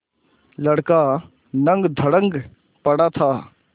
लड़का नंगधड़ंग पड़ा था